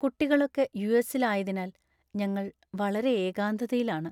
കുട്ടികളൊക്കെ യൂ.എസ്സില്‍ ആയതിനാല്‍ ഞങ്ങള്‍ വളരെ എകാന്തതയിലാണ്.